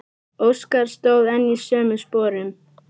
Óskar stóð enn í sömu sporum.